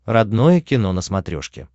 родное кино на смотрешке